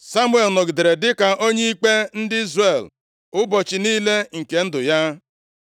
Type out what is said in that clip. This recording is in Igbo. Samuel nọgidere dịka onye ikpe ndị Izrel ụbọchị niile nke ndụ ya.